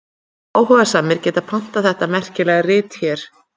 Áhugasamir geta pantað þetta merkilega rit hér.